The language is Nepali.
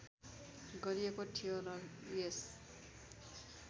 गरिएको थियो र यस